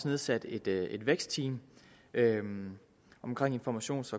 nedsat et et vækstteam omkring informations